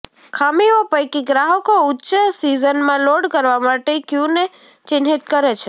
ખામીઓ પૈકી ગ્રાહકો ઉચ્ચ સીઝનમાં લોડ કરવા માટે ક્યુને ચિહ્નિત કરે છે